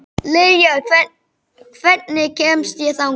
Liljar, hvernig kemst ég þangað?